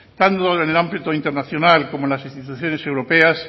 tanto en el ámbito internacional como en las instituciones europeas